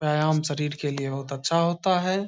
व्यायाम शरीर के लिए होत अच्छा होता है।